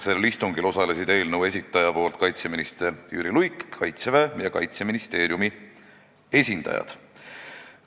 Sellel istungil osalesid eelnõu esitaja nimel kaitseminister Jüri Luik ning Kaitseväe ja Kaitseministeeriumi esindajad.